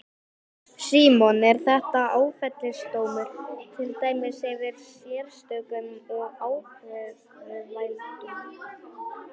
Símon: Er þetta áfellisdómur, til dæmis yfir sérstökum og ákæruvaldinu?